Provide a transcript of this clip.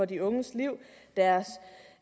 de unges liv deres